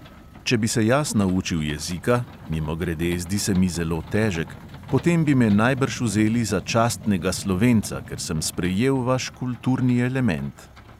Če bi se jaz naučil jezika, mimogrede, zdi se mi zelo težek, potem bi me najbrž vzeli za častnega slovenca, ker sem sprejel vaš kulturni element.